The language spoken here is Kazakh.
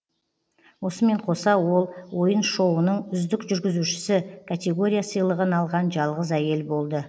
осымен қоса ол ойын шоуының үздік жүргізуші категория сыйлығын алған жалғыз әйел болды